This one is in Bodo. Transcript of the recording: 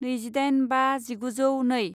नैजिदाइन बा जिगुजौ नै